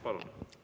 Palun!